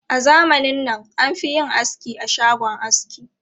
A zamanin nan, an fi yin aski a shagon aski.